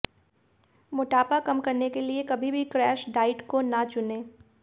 मोटापा कम करने के लिये कभी भी क्रैश डाइट को न चुने